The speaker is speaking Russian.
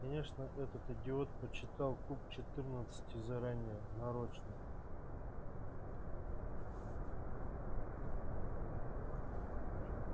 конечно этот идиот подсчитал куб четырнадцати заранее нарочно